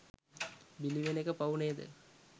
බිලිවෙන එක පව් නේද